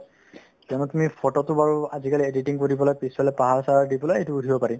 কিয়নো তুমি photo তো বাৰু আজিকালি editing কৰি পেলাই পিছফালে পাহাৰ-চাহাৰ দি পেলাই সেইটো উঠিব পাৰি